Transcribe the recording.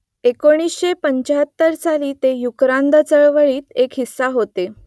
एकोणीसशे पंचाहत्तर साली ते युक्रांद चळवळीचा एक हिस्सा होते